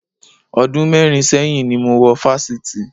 Ọdún mẹ́rin sẹ́yìn ni mo wọ Fáṣítì